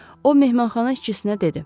O mehmanxana işçisinə dedi.